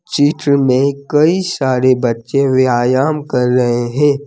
चित्र में कई सारे बच्चे व्यायाम कर रहे हैं।